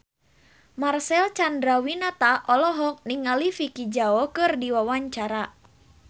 Marcel Chandrawinata olohok ningali Vicki Zao keur diwawancara